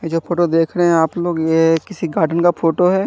ये जो फोटो देख रहे है आप लोग ये किसी गार्डन का फोटो है।